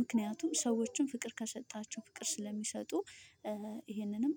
ምክንያቱም ሰዎችን ፍቅር ከሰጣቸው ፍቅር ስለሚሰጡ። ይሄንንም